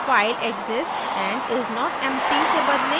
file exists and is not empty से बदलें